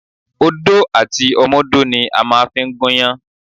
Odó àti ọmọdó ni a màa n fi gúnyán